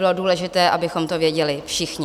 Bylo důležité, abychom to věděli všichni.